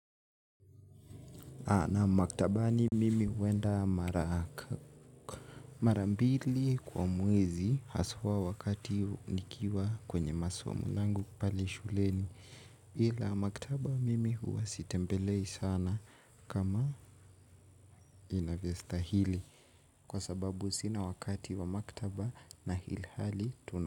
Na maktaba mimi huenda mara. Mara mbili kwa mwezi haswa wakati nikiwa kwenye masomo yangu pale shuleni ila maktaba mimi huwa sitembelei sana kama inavyo stahili. Kwa sababu sina wakati wa maktaba na ilhali tuna.